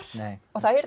og það